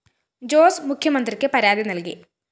ജോസ് മുഖ്യമന്ത്രിക്ക് പരാതി നല്‍കി